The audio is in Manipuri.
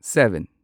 ꯁꯚꯦꯟ